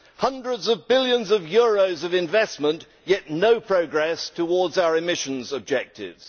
Hundreds of billions of euros of investment, yet no progress towards our emissions objectives.